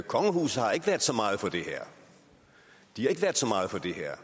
kongehuset har ikke været så meget for det her de har ikke været så meget for det her